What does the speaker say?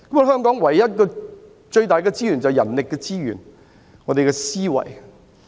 香港僅有的最大資源就是人力資源，包括我們的思維。